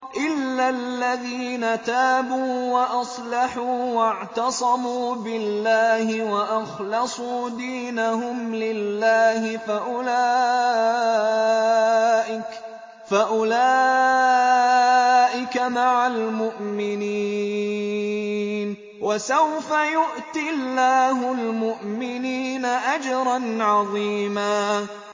إِلَّا الَّذِينَ تَابُوا وَأَصْلَحُوا وَاعْتَصَمُوا بِاللَّهِ وَأَخْلَصُوا دِينَهُمْ لِلَّهِ فَأُولَٰئِكَ مَعَ الْمُؤْمِنِينَ ۖ وَسَوْفَ يُؤْتِ اللَّهُ الْمُؤْمِنِينَ أَجْرًا عَظِيمًا